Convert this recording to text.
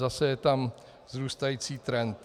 Zase je tam vzrůstající trend.